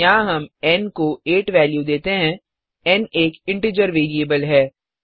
यहाँ हम एन को 8 वेल्यू देते हैं एन एक इंटीजर वेरिएबल है